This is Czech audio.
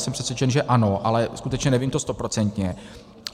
Jsem přesvědčen, že ano, ale skutečně nevím to stoprocentně.